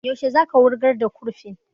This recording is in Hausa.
Yaushe za ka wurgar da kurfin?